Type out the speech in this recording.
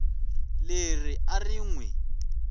leri a ri n wi